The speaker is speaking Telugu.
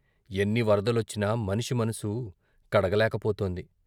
ఎన్ని వరదలొచ్చినా మనిషి మనసు కడగలేకపోతోంది.